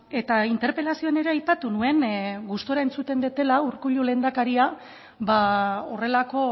eta interpelazioan ere aipatu nuen gustura entzuten dudala urkullu lehendakaria ba horrelako